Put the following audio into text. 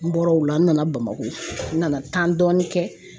N bɔra o la n nana Bamakɔ n nana dɔɔni kɛ